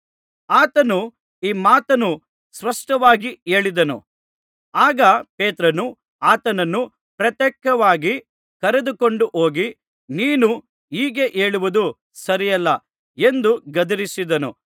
ಆತನು ಈ ಮಾತನ್ನು ಸ್ಪಷ್ಟವಾಗಿ ಹೇಳಿದನು ಆಗ ಪೇತ್ರನು ಆತನನ್ನು ಪ್ರತ್ಯೇಕವಾಗಿ ಕರೆದುಕೊಂಡು ಹೋಗಿ ನೀನು ಹೀಗೆ ಹೇಳುವುದು ಸರಿಯಲ್ಲ ಎಂದು ಗದರಿಸಿದನು